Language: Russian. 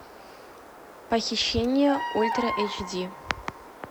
похищение ультра эйч ди